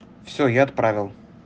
всё я отправил